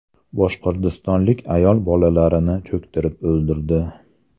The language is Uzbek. Boshqirdistonlik ayol bolalarini cho‘ktirib o‘ldirdi.